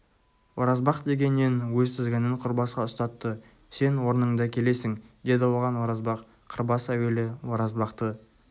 оразбақ дегеннен өз тізгінін қырбасқа ұстатты сен орныңда келесің деді оған оразбақ қырбас әуелі оразбақты